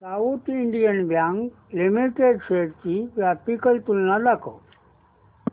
south Indian Bank Limited shares ची graphical तुलना दाखव